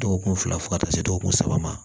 Dɔgɔkun fila fo ka taa se dɔgɔkun saba ma